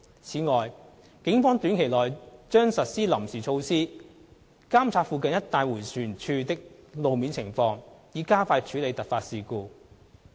此外，警方短期內將實施臨時措施監察附近一帶迴旋處的路面情況，以加快處理突發事故。